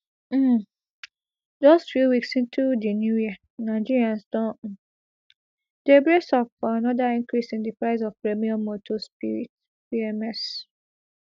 um just few weeks into di new year nigerians don um dey brace up for anoda increase in di price of premium motor spirit pms